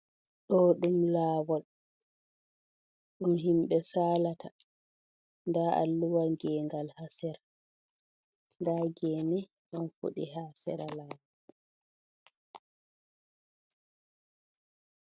Ɗo ɗum lawol, ɗum himbe salata, da alluwal gengal hasira, da gene do fudi ha sira lawo.